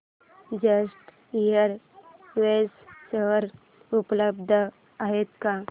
jet Airways share उपलब्ध आहेत का